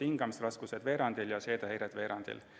Hingamisraskused olid veerandil ja seedehäired samuti veerandil.